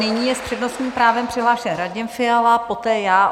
Nyní je s přednostním právem přihlášen Radim Fiala, poté já.